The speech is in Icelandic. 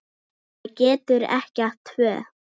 Maður getur ekki átt tvö